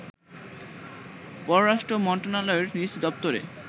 পররাষ্ট্র মন্ত্রণালয়ের নিজ দপ্তরে